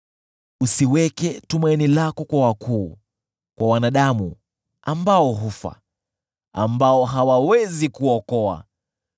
Usiweke tumaini lako kwa wakuu, kwa wanadamu ambao hufa, ambao hawawezi kuokoa.